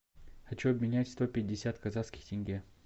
хочу обменять сто пятьдесят казахских тенге